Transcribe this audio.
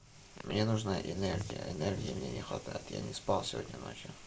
мне нужна энергия энергии мне не хватает я не спал сегодня ночью